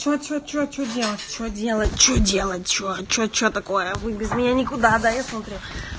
че че че че делать че делать че делать че че че такое вы без меня никуда да я смотрю